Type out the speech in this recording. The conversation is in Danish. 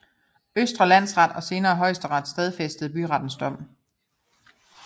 Østre Landsret og senere Højesteret stadfæstede byrets dom